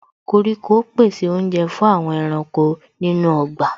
Koríko pèsè oúnjẹ fún àwọn ẹranko nínú ọgbà